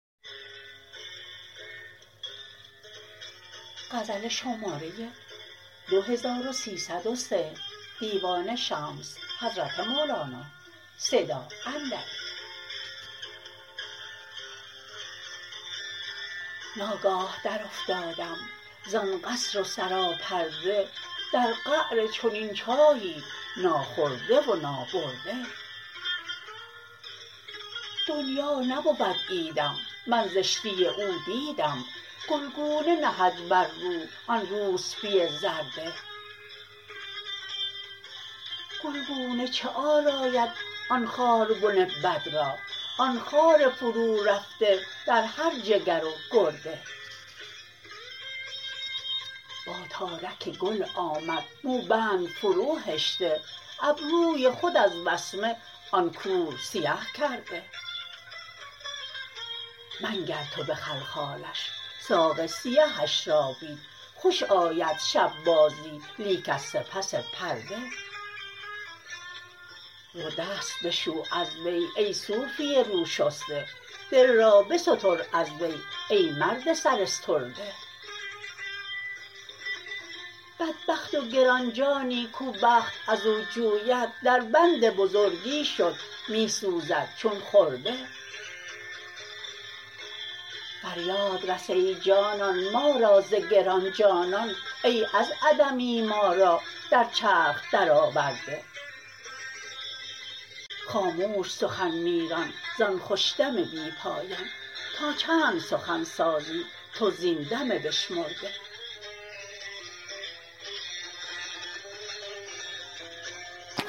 ناگاه درافتادم زان قصر و سراپرده در قعر چنین چاهی ناخورده و نابرده دنیا نبود عیدم من زشتی او دیدم گلگونه نهد بر رو آن روسپی زرده گلگونه چه آراید آن خاربن بد را آن خار فرورفته در هر جگر و گرده با تارک گل آمد موبند فروهشته ابروی خود از وسمه آن کور سیه کرده منگر تو به خلخالش ساق سیهش را بین خوش آید شب بازی لیک از سپس پرده رو دست بشو از وی ای صوفی روشسته دل را بستر از وی ای مرد سراسترده بدبخت و گران جانی کو بخت از او جوید دربند بزرگی شد می سوزد چون خرده فریاد رس ای جانان ما را ز گران جانان ای از عدمی ما را در چرخ درآورده خاموش سخن می ران زان خوش دم بی پایان تا چند سخن سازی تو زین دم بشمرده